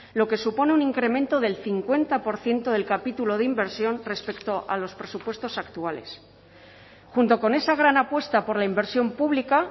lo que supone un incremento del cincuenta por ciento del capítulo de inversión respecto a los presupuestos actuales junto con esa gran apuesta por la inversión pública